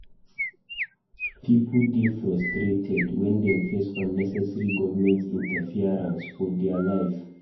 Pipo dey frustrated wen dem face unnecessary government interference for dia life.